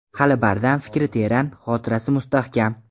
Hali bardam, fikri teran, xotirasi mustahkam.